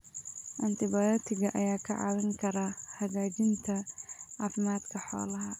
Antibiyootiga ayaa kaa caawin kara hagaajinta caafimaadka xoolaha.